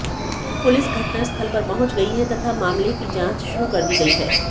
police घटनास्थल पर पहुंच गई है तथा मामले की जांच शुरू कर दी गई है